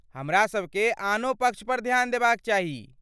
हमरा सभकेँ आनो पक्ष पर ध्यान देबाक चाही।